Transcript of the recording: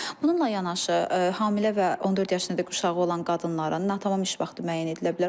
Bununla yanaşı, hamilə və 14 yaşına qədər uşağı olan qadınların natamam iş vaxtı müəyyən edilə bilər.